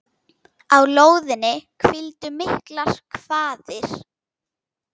Á lóðinni hvíldu miklar kvaðir.